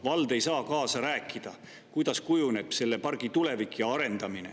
Vald ei saa kaasa rääkida, kuidas kujuneb selle pargi tulevik ja arendamine.